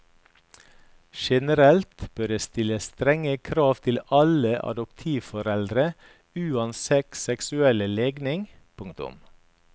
Generelt bør det stilles strenge krav til alle adoptivforeldre uansett seksuell legning. punktum